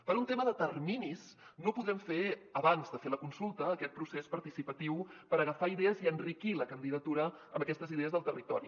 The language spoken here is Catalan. per un tema de terminis no podrem fer abans de fer la consulta aquest procés participatiu per agafar idees i enriquir la candidatura amb aquestes idees del territori